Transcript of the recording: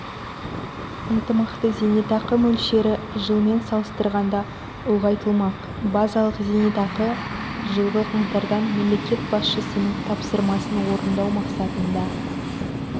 ынтымақты зейнетақы мөлшері жылмен салыстырғанда ұлғайтылмақ базалық зейнетақы жылғы қаңтардан мемлекет басшысының тапсырмасын орындау мақсатында